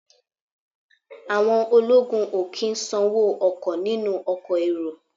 Àwọn ológun ò kí ń sanwó ọkọ̀ nínú ọkọ̀ èrò